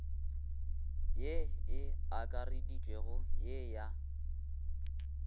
ye e akareditšwego ye ya